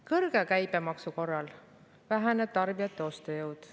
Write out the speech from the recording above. Kõrge käibemaksu korral väheneb tarbijate ostujõud.